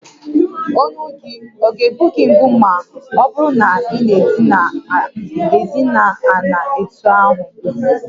Olu gị ọ̀ ga egbu gị mgbu ma ọ bụrụ na ị na-idina ana etú ahụ?